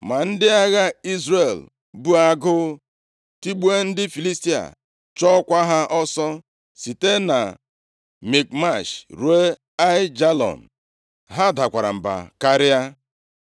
Ma ndị agha Izrel bu agụụ tigbuo ndị Filistia, chụọkwa ha ọsọ site na Mikmash ruo Aijalon. Ha dakwara mba karịa.